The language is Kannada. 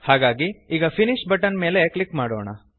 ಹಾಗಾಗಿ ಈಗ ಫಿನಿಶ್ ಬಟನ್ ಮೇಲೆ ಕ್ಲಿಕ್ ಮಾಡೋಣ